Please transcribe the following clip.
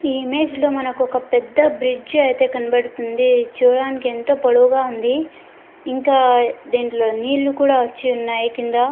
ఈ ఇమేజ్ లో మనకొక పెద్ద బ్రిడ్జ్ అయితే కనపడుతుంది చూడటానికి ఎంత పోలవు గ వుంది ఇంకా దీంట్లో నీళ్లు కూడా వచ్చి ఉన్నాయ్ కింద.